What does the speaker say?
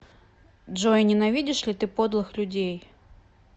джой ненавидишь ли ты подлых людей